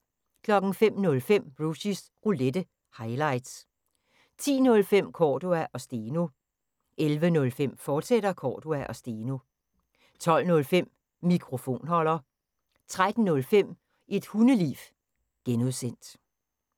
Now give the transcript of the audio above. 05:05: Rushys Roulette – highlights 10:05: Cordua & Steno 11:05: Cordua & Steno, fortsat 12:05: Mikrofonholder 13:05: Et Hundeliv (G)